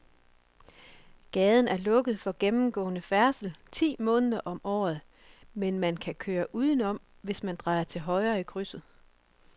Gaden er lukket for gennemgående færdsel ti måneder om året, men man kan køre udenom, hvis man drejer til højre i krydset.